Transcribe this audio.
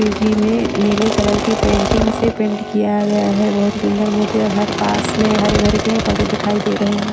जी में नीले कलर की पेंटिंग से पेंट किया गया है बहुत ही सुंदर मूर्ति और हर पास में हरे भरे पेड़ पौधे दिखाई दे रहे हैं।